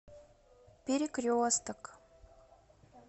перекресток